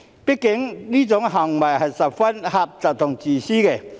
畢竟，這種行為是十分狹隘自私的。